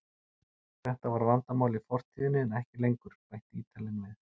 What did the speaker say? Þetta var vandamál í fortíðinni en ekki lengur, bætti Ítalinn við.